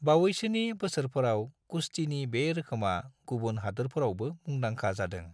बावैसोनि बोसोरफोराव कुश्तीनि बे रोखोमा गुबुन हादोरफोरावबो मुंदांखा जादों।